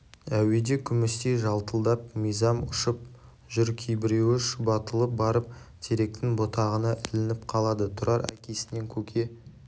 әуеде күмістей жалтылдап мизам ұшып жүр кейбіреуі шұбатылып барып теректің бұтағына ілініп қалады тұрар әкесінен көке